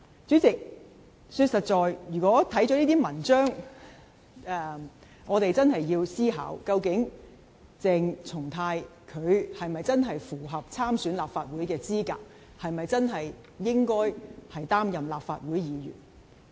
主席，老實說，看過這些文章後，我們真的要思考，究竟鄭松泰是否真的符合參選立法會的資格，是否真的可以擔任立法會議員。